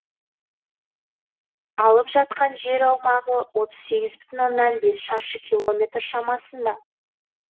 алып жатқан жер аумағы отыз сегіз бүтін оннан бес шаршы километр шамасында